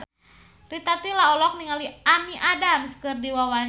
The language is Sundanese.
Rita Tila olohok ningali Amy Adams keur diwawancara